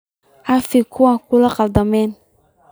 Cafi kuwa kugu qaldama.